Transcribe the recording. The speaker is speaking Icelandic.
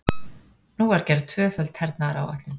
Nú var gerð tvöföld hernaðaráætlun.